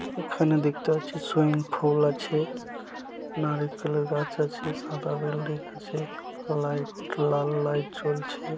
এখানে দেখতে পাচ্ছি সুইমিং ফুল আছে নারিখেলে গাছ আছে সাদা বিল্ডিং আছে লাইট লাল লাইট জ্বলছে ।